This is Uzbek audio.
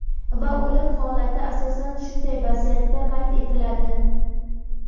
Va o‘lim holati asosan shunday vaziyatda qayd etiladi.